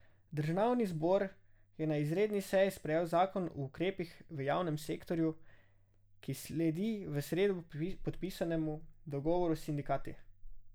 Državni zbor je na izredni seji sprejel zakon o ukrepih v javnem sektorju, ki sledi v sredo podpisanemu dogovoru s sindikati.